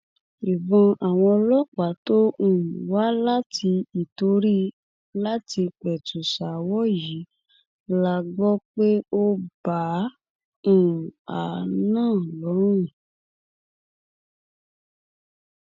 ìbọn àwọn ọlọpàá tó um wá láti ìtorí láti pẹtù ṣaáwọ yìí la gbọ pé ó bá um a náà lọrun